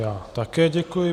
Já také děkuji.